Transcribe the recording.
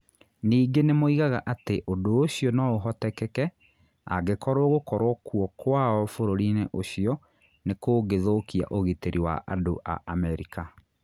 Ningĩ nĩ moigaga atĩ ũndũ ũcio no ũhoteke angĩkorũo gũkorũo kuo kwao bũrũri-inĩ ũcio nĩ kũngĩthũkia ũgitĩri wa andũ a Amerika.